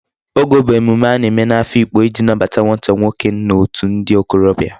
Ogo bu emume a na-eme n'Afikpo iji nnabata nwata nwoke n'otu ndi okorobia